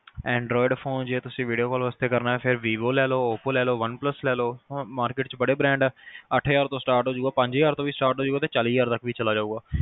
android phone ਜੇ ਤੁਸੀਂ video call ਵਾਸਤੇ ਕਰਨਾ ਆ ਫਿਰ ਤੁਸੀਂ vivo ਲੇਲੋ oppo ਲੇਲੋ one plus ਲੇਲੋ market ਚ ਬੜੇ brand ਅੱਠ ਹਜ਼ਾਰ ਤੋਂ start ਹੋਜੂਗਾ ਪੰਜ ਹਜ਼ਾਰ ਤੋਂ start ਹੋਜੂਗਾ ਤੇ ਚਾਲੀ ਹਜ਼ਾਰ ਤੱਕ ਵੀ ਚਲਾ ਜਾਏਗਾ